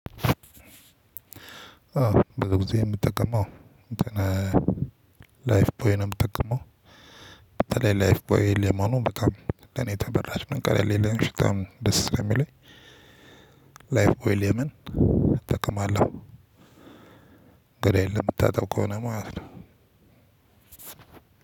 በጊዜ የምጠቀመው እንትን ላይፍ ፖይን ነው የምጠቀመው። በተለይ ላይፍ ቦይ ሌማኖ በጣም ለኔ ተበራጭ መንቀሌ ሌላን ሽጣም ደስ የሚለኝ። ላይፍ ዌል የመን እጠቀማለሁ። ገላየን ለመታጠብ ከሆነ ማለት ነው።